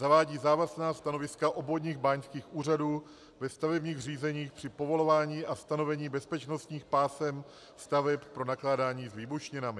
Zavádí závazná stanoviska obvodních báňských úřadů ve stavebních řízeních při povolování a stanovení bezpečnostních pásem staveb pro nakládání s výbušninami.